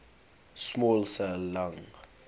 small cell lung